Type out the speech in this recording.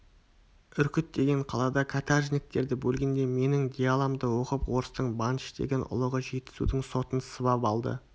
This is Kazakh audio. үркіт деген қалада қатаржыніктерді бөлгенде менің диаламды оқып орыстың бантыш деген ұлығы жетісудың сотын сыбап алды